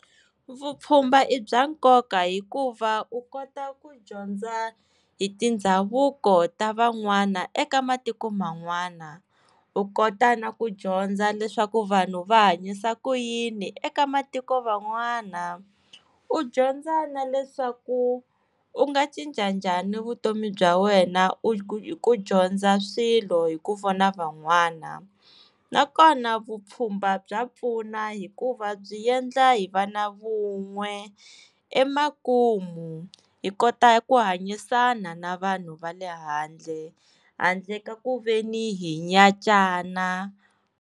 Vupfhumba i bya nkoka hikuva u kota ku dyondza hi tindhavuko ta van'wana eka matiko man'wana u kota na ku dyondza leswaku vanhu va hanyisa ku yini eka matiko van'wana u dyondza na leswaku u nga cinca njhani vutomi bya wena u u hi ku dyondza swilo hi ku vona van'wana nakona vupfhumba bya pfuna hikuva byi endla hi va na vun'we emakumu hi kota ku hanyisana na vanhu va le handle handle ka kuveni hi nyatsana.